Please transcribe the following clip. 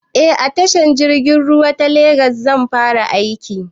Eh a tashar jirgin ruwa ta legas zan fara aiki